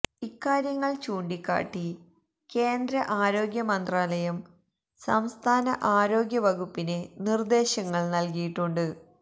ഇക്കാര്യങ്ങള് ചൂണ്ടിക്കാട്ടി കേന്ദ്ര ആരോഗ്യ മന്ത്രാലയം സംസ്ഥാന ആരോഗ്യ വകുപ്പിന് നിര്ദ്ദേശങ്ങള് നല്കിയിട്ടുണ്ട്